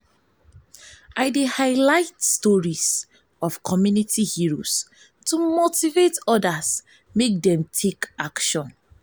i dey highlight stories of community heroes to motivate odas to take action.